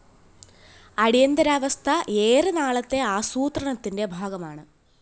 അടിയന്തരാവസ്ഥ ഏറെ നാളത്തെ ആസൂത്രണത്തിന്റെ ഭാഗമാണ്